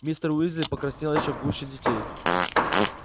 мистер уизли покраснел ещё гуще детей